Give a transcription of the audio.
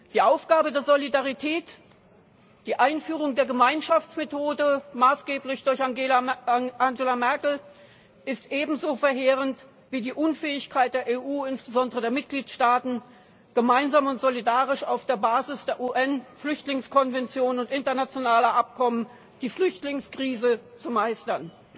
Die Aufgabe der Solidarität, die Einführung der Gemeinschaftsmethode maßgeblich durch Angela Merkel ist ebenso verheerend wie die Unfähigkeit der EU, insbesondere der Mitgliedstaaten, gemeinsam und solidarisch auf Basis der UN Flüchtlingskonvention und internationaler Abkommen die Flüchtlingskrise zu meistern.